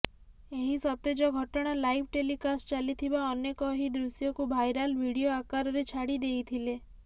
ଏହି ସତେଜ ଘଟଣା ଲାଇଭ୍ ଟେଲିକାଷ୍ଟ ଚାଲିଥିବା ଅନେକ ଏହି ଦୃଶ୍ୟକୁ ଭାଇରାଲ ଭିଡ଼ିଓ ଆକାରରେ ଛାଡ଼ି ଦେଇଥିଲେ